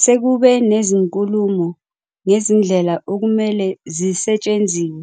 Sekube nezinkulumo ngezindlela okumele zisetshenziwe